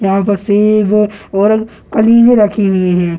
यहां पर सेब और कलीरे रखी हुई है।